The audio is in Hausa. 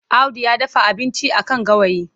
Audu ya dafa abinci a kan gawayi.